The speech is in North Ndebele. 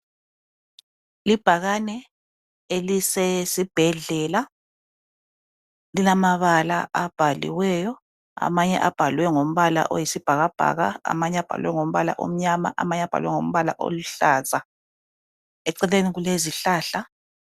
libhakane elisesibhedlela lilama bala abhaliweyo amanye abhalwe ngombala oyisibhakabhaka amanye abhalwe ngombala omnyama amanye abhalwe ngombala oluhlaza eceleni kulezihlahla